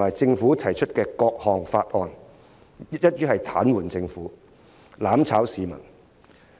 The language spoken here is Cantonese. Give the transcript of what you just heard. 案及政府提出的各項法案，一於癱瘓政府，"攬炒"市民。